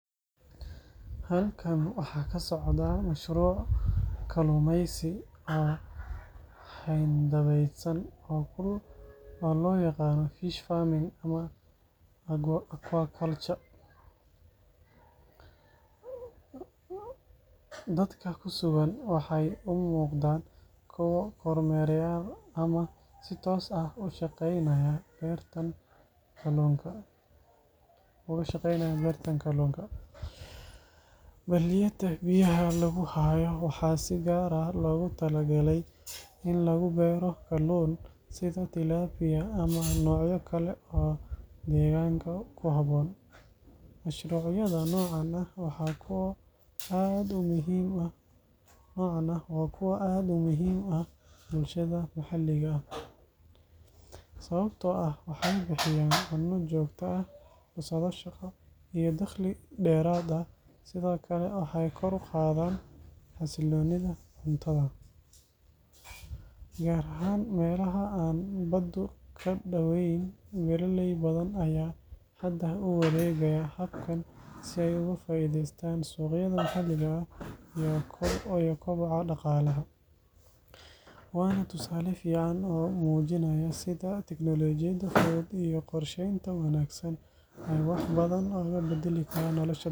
Hawshan xoolo-dhaqashada ah waxay si weyn isu beddeshay muddooyinkii dambe ee degmada. Hore waxaa loo dhaqmi jiray si dhaqameed, iyadoo la raaco roobka, la’aanta adeegyada caafimaadka xoolaha iyo suuqyo rasmi ah. Balse hadda dadku waxay bilaabeen in ay isticmaalaan aqoon casri ah sida talaalka, daawaynta joogtada ah iyo nafaqeynta wanaagsan. Waxaa kale oo muuqata in la sameeyay dhismayaal sida kuwa sawirka ku jira, oo bixiya hooy wanaagsan oo xoolaha ka difaaca qorraxda iyo roobka. Suuqyada xoolaha ayaa isna horumaray, taasoo keentay in dadka beeraleyda ah ay helaan dakhli fiican. Isbedelkaasi wuxuu keenay nolol ka wanaagsan dad badan, gaar ahaan dhalinyarada iyo haweenka oo hadda si firfircoon uga qeyb qaata dhaqaalaha reer miyiga.